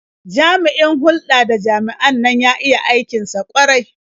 Jami'in hulɗa da jama'an nan ya iya aikin sa ƙwarai.